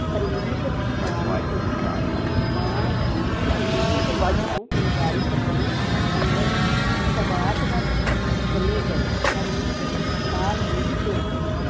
ਹਰਮੀਤ ਨੇ ਮਾਂ ਨੂੰ ਕਿਹਾ, ਮਾਂ ਜੀ ਸੰਦੂਕ ਵਿੱਚੋਂ ਫੁਲਕਾਰੀ ਕੱਢਣ ਅੰਦਰ ਸਬਾਤ ਵੱਲ ਚਲੇ ਗਏ, ਹਰਮੀਤ ਵੀ ਨਾਲ ਹੀ ਤੁਰ ਪਈ।